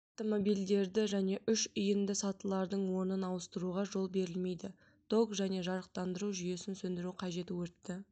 автомобильдерді және үш иінді сатылардың орынын ауыстыруға жол берілмейді ток және жарықтандыру жүйесін сөндіру қажет өртті